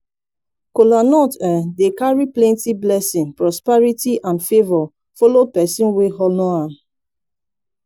kolanut um dey kari plenti blessin prosperity and favor follow pesin wey honor am